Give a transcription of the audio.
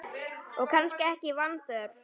Og kannski ekki vanþörf á.